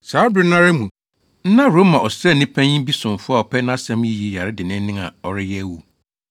Saa bere no ara mu na Roma ɔsraani panyin bi somfo a ɔpɛ nʼasɛm yiye yare denneennen a ɔreyɛ awu.